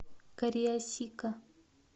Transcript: кариасика